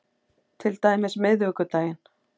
Til dæmis miðvikudaginn